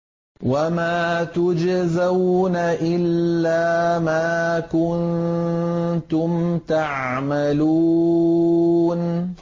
وَمَا تُجْزَوْنَ إِلَّا مَا كُنتُمْ تَعْمَلُونَ